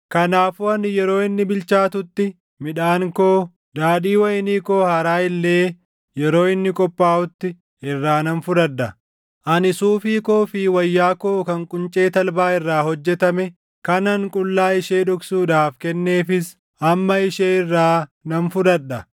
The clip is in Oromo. “Kanaafuu ani yeroo inni bilchaatutti midhaan koo, daadhii wayinii koo haaraa illee yeroo inni qophaaʼutti // irraa nan fudhadha. Ani suufii koo fi wayyaa koo kan quncee talbaa irraa hojjetame kanan qullaa ishee dhoksuudhaaf kenneefis // amma ishee irraa nan fudhadha.